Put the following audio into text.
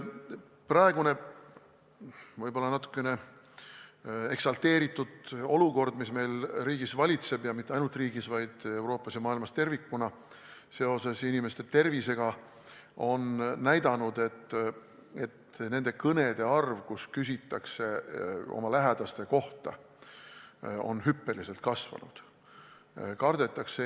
Praegune natukene eksalteeritud olukord, mis riigis valitseb – ja mitte ainult meie riigis, vaid Euroopas ja maailmas tervikuna, inimeste tervise tõttu –, on näidanud, et nende kõnede arv, kus küsitakse oma lähedaste kohta, on hüppeliselt kasvanud.